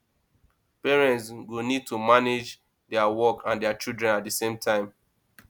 parents go need to manage their work and their children at the same time